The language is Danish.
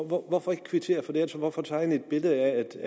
hvorfor ikke kvittere for det hvorfor tegne et billede af at der